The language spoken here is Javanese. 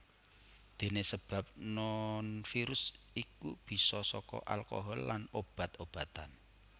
Dene sebab nonvirus iku bisa saka alkohol lan obat obatan